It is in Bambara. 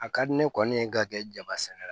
A ka di ne kɔni ye ka kɛ jaba sɛnɛ la